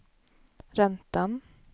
räntan